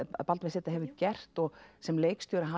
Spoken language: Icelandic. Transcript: Baldvin z hefur gert og sem leikstjóri hann